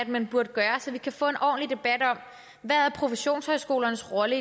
man burde gøre så vi kan få en ordentlig debat om hvad professionshøjskolernes rolle